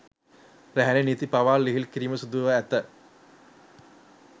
රැහේ නීති පවා ලිහිල් කිරීමට සිදුව ඇත